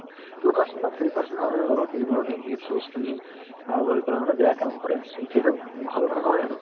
two percent বা three percent মানুহে ধৰক এইবোৰৰ negative source খিনি আ লৈ কিনে বেয়া কাম কৰে so সেইটো ভাল কথা নহয় আৰু